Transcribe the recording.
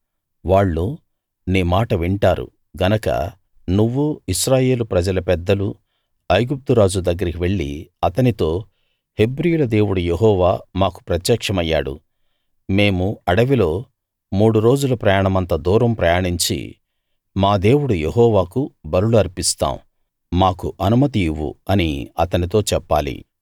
వాళ్ళు నీ మాట వింటారు గనక నువ్వూ ఇశ్రాయేలు ప్రజల పెద్దలూ ఐగుప్తు రాజు దగ్గరికి వెళ్లి అతనితో హెబ్రీయుల దేవుడు యెహోవా మాకు ప్రత్యక్షమయ్యాడు మేము అడవిలోకి మూడు రోజుల ప్రయాణమంత దూరం ప్రయాణించి మా దేవుడు యెహోవాకు బలులు అర్పిస్తాం మాకు అనుమతి ఇవ్వు అని అతనితో చెప్పాలి